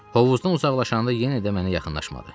Hovuzdan uzaqlaşanda yenə də mənə yaxınlaşmadı.